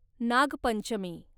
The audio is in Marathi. नागपंचमी